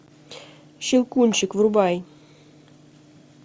щелкунчик врубай